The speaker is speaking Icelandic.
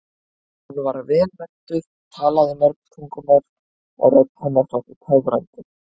Hún var vel menntuð, talaði mörg tungumál og rödd hennar þótti töfrandi.